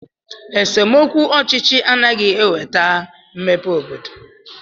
Esemokwu ọchịchị anaghị enweta mmepe n'obodo